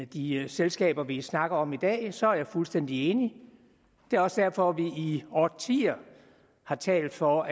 de selskaber vi snakker om i dag så er jeg fuldstændig enig det er også derfor at vi i årtier har talt for